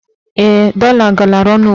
Ee, dọla galara ọnụ ugbua.